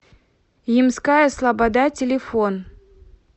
ямская слобода телефон